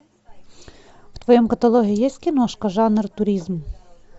в твоем каталоге есть киношка жанр туризм